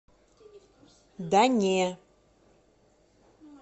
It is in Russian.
да не